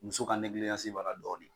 Muso ka negiliyansi b'a la dɔɔni.